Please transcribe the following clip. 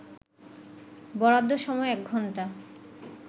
বরাদ্দ সময় ১ ঘণ্টা